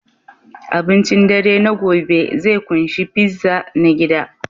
Abincin dare na gobe zai ƙunshi pizza na gida